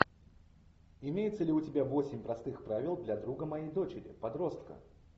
имеется ли у тебя восемь простых правил для друга моей дочери подростка